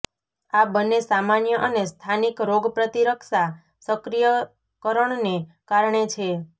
આ બંને સામાન્ય અને સ્થાનિક રોગપ્રતિરક્ષા સક્રિયકરણને કારણે છે